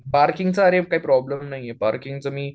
पार्किंगचा अरे काही प्रोब्लेम नाही हे पार्किंगचं मी